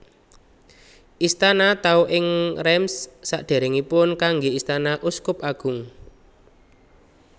Istana Tau ing Reims sadèrèngipun kanggé istana uskup agung